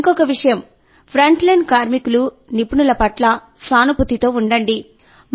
ఇంకొక విషయం ఫ్రంట్లైన్ కార్మికులు నిపుణుల పట్ల సానుభూతితో ఉండండి